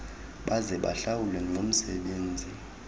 baze bahlawulwe ngomsebenzi